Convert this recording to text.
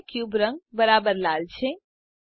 હવે ક્યુબ રંગ બરાબર લાલ છે